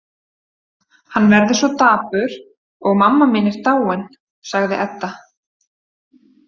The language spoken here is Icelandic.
Hann verður svo dapur og mamma mín er dáin, sagði Edda.